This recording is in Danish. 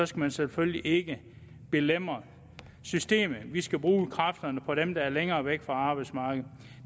skal man selvfølgelig ikke belemre systemet vi skal bruge kræfterne på dem der er længere væk fra arbejdsmarkedet